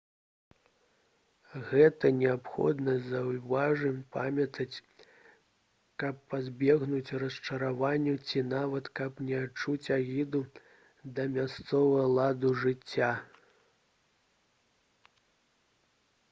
гэта неабходна заўжды памятаць каб пазбегнуць расчаравання ці нават каб не адчуць агіду да мясцовага ладу жыцця